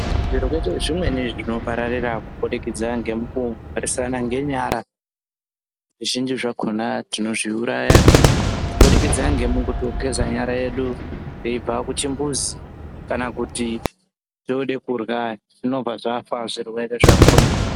Zvirwere zvimweni zvinopararira kubudikidza ngemukumhoresana ngenyara zvizhinji zvakhona tinozviuraya kubudikidza ngemukugeza nyara yedu weibva kuchimbuzi kana teide kurya zvinobva zvafa zvirwere zvakho.